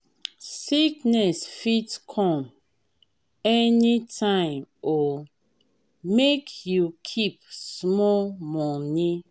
sickness fit come anytime o make you keep small moni.